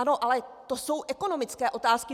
Ano, ale to jsou ekonomické otázky.